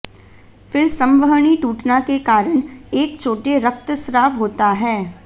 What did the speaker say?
फिर संवहनी टूटना के कारण एक छोटे रक्तस्राव होता है